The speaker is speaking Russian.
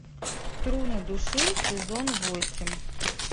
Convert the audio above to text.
струны души сезон восемь